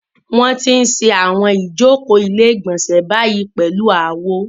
Wọ́n ti ń ṣe àwọn ìjókòó ilé-ìgbọ̀nsẹ̀ báyìí pẹ̀lú àwo.